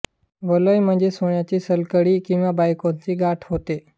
वलय म्हणजे सोण्याची सलकडी किंवा बायकांचे गोठ होत